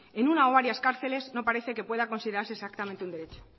en una o varias cárceles no parece que pueda considerarse exactamente un derecho